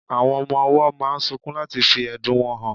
Awón ọmọ owó máa sunkún láti fí ẹ̀dùn wọn hàn